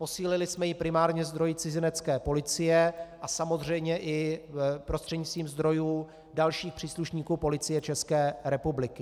Posílili jsme ji primárně zdroji Cizinecké policie a samozřejmě i prostřednictvím zdrojů dalších příslušníků Policie České republiky.